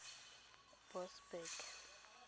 boksburg